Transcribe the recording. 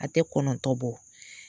A tɛ kɔnɔntɔ bɔ.